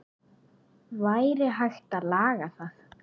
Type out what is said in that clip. Væri hægt að laga það?